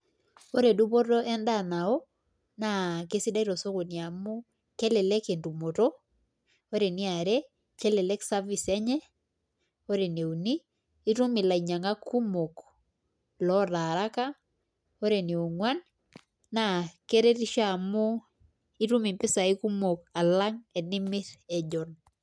koree dupoto endaa nao na kesidai too sokoni naa kelelk entumoto koree eniaare naa kelelk service[]cs] enye koree ene uni naa itum ilainyak kumokloota araka koree ene onguan naa keretisho oleng alang tenimir ejon